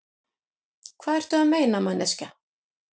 Hvað ertu að meina, manneskja?